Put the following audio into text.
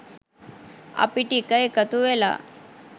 අපි ටික එකතු වෙලා